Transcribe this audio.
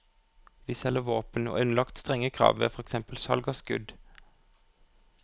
Vi selger våpen og er underlagt strenge krav ved for eksempel salg av skudd.